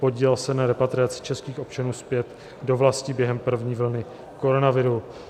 Podílel se na repatriaci českých občanů zpět do vlasti během první vlny koronaviru.